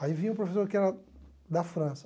Aí vinha um professor que era da França.